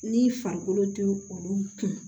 Ni farikolo tɛ olu kun